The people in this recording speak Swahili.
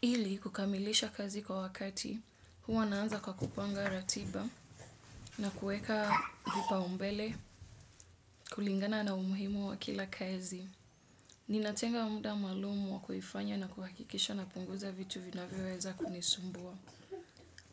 Ili kukamilisha kazi kwa wakati huwa naanza kwa kupanga ratiba na kueka vipaumbele kulingana na umuhimu wa kila kazi. Ninatenga muda malumu wa kuifanya na kuhakikisha napunguza vitu vinavyoweza kunisumbua